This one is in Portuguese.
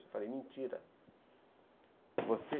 Eu falei, mentira. Você